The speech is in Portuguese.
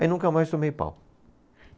Aí nunca mais tomei pau.